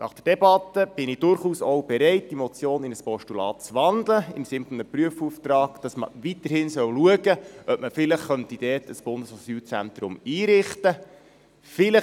Nach der Debatte bin ich durchaus auch bereit, die Motion in ein Postulat zu wandeln, im Sinne eines Prüfauftrags, dass man weiterhin schauen soll, ob man dort vielleicht ein Bundesasylzentrum einrichten könnte.